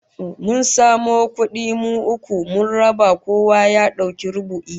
Mun samo kudi mu uku, mun raba kowa ya dauki rubu'i